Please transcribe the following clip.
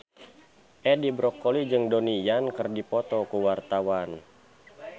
Edi Brokoli jeung Donnie Yan keur dipoto ku wartawan